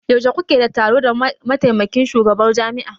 Yaushe kuke da taro da mataimakin shugabar jami'a?